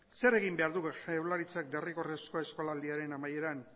zer egin behar du jaurlaritzak derrigorrezko eskolaldiaren amaieran